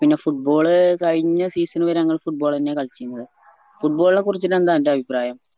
പിന്നെ football കയിഞ്ഞ season വേരെ ഞങ്ങള് football അന്ന്യ കളിചിന്നത് football നെ കുറിച്ചിട്ടെന്താ അന്റെ അഭിപ്രായം